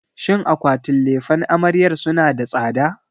Shin akwatin lefen amaryar suna da tsada?